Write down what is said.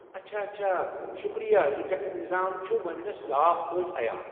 اچھا اچھا، شکریہِ، یہِ ٹٮ۪کس نظام چھُ وۄنۍ مےٚ صاف پٲٹھۍ عیاں ۔